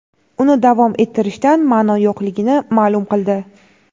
uni davom ettirishdan ma’no yo‘qligini ma’lum qildi.